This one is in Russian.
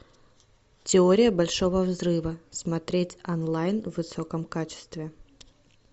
теория большого взрыва смотреть онлайн в высоком качестве